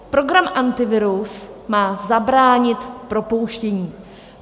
Program Antivirus má zabránit propouštění.